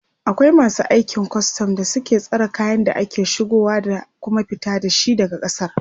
akwai masu aikin custom da suke tsare kayan da ake shigowa da Kuma fita da shi daga kasar